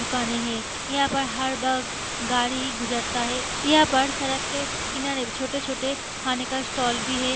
दुकानें है यहाँ पर हर बक़्त गाड़ी गुजरता है यहाँ पर सड़क के किनारे भी छोटे-छोटे खाने का स्टॉल भी है।